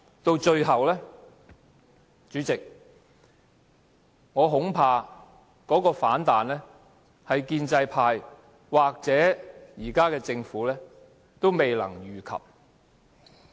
到最後，主席，我恐怕這種反彈是建制派或現在的政府也未能預及的。